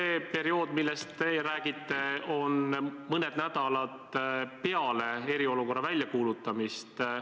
See periood, millest teie räägite, on mõned nädalad peale eriolukorra väljakuulutamist.